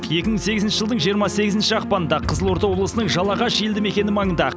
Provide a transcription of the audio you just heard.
екі мың сегізінші жылдың жиырма сегізінші ақпанында қызылорда облысының жалағаш елді мекені маңында